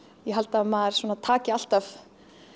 ég held að maður svona taki alltaf